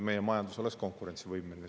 Meie majandus peab olema konkurentsivõimeline.